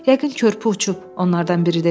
Yəqin körpü uçub, onlardan biri dedi.